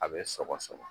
A bɛ sɔgɔ sɔgɔ